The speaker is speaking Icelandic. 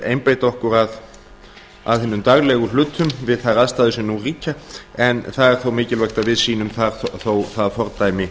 einbeita okkur að hinum daglegu hlutum við þær aðstæður sem nú ríkja en það er þó mikilvægt að við sýnum þó það fordæmi